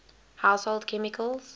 household chemicals